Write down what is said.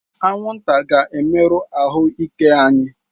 Anwụnta ga-emerụ ahụ ike anyị